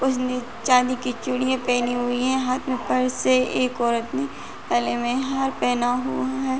उसने चाँदी की चूड़ियां पहनी हुई हैं। हाथ में पर्स है एक औरत ने गले में हार पहना हुआ है।